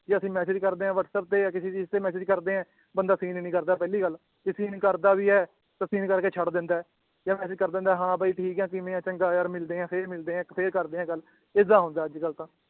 ਵੀ ਅਸੀ message ਕਰਦੇ ਏ whatsapp ਤੇ ਯਾਂ ਕਿਸੀ ਚੀਜ ਤੇ message ਕਰਦੇ ਏ ਬੰਦਾ seen ਈ ਨੀ ਕਰਦਾ ਪਹਿਲੀ ਗੱਲ ਜੇ seen ਕਰਦਾ ਵੀ ਏ ਤਾਂ seen ਕਰਕੇ ਛੱਡ ਦਿੰਦਾ ਏ ਯਾਂ message ਕਰ ਦਿੰਦਾ ਏ ਹਾਂ ਬਾਈ ਠੀਕ ਏ ਕਿਵੇਂ ਏ ਚੰਗਾ ਯਾਰ ਮਿਲਦੇ ਏ ਫੇਰ ਮਿਲਦੇ ਏ ਇਕ ਫੇਰ ਕਰਦੇ ਏ ਗੱਲ ਏਦਾਂ ਹੁੰਦਾ ਅੱਜਕੱਲ ਤਾਂ